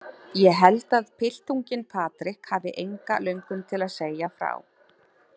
Ég held að piltunginn Patrik hafi enga löngun til að segja frá.